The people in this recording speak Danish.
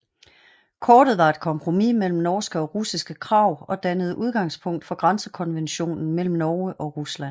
Kortet var et kompromis mellem norske og russiske krav og dannede udgangspunktet for grænsekonventionen mellem Norge og Rusland